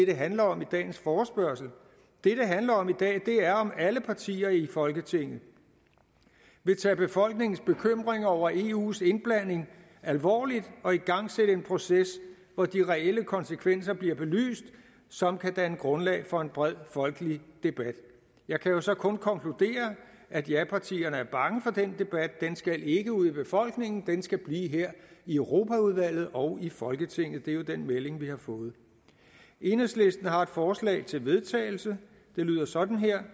det handler om i dagens forespørgsel det det handler om i dag er om alle partier i folketinget vil tage befolkningens bekymring over eus indblanding alvorligt og igangsætte en proces hvor de reelle konsekvenser bliver belyst som kan danne grundlag for en bred folkelig debat jeg kan jo så kun konkludere at japartierne er bange for den debat den skal ikke ud i befolkningen den skal blive her i europaudvalget og i folketinget det er jo den melding vi har fået enhedslisten har et forslag til vedtagelse det lyder sådan her